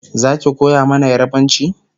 Zaki koya mana yarbanci?